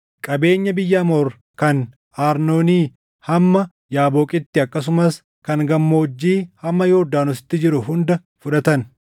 qabeenya biyya Amoor kan Arnoonii hamma Yaaboqitti akkasumas kan gammoojjii hamma Yordaanositti jiru hunda fudhatan.